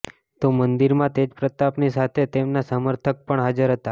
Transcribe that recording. તો મંદિરમાં તેજપ્રતાપની સાથે તેમના સમર્થક પણ હાજર હતા